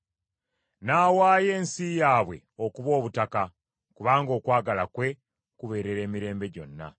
N’awaayo ensi yaabwe okuba obutaka, kubanga okwagala kwe kubeerera emirembe gyonna.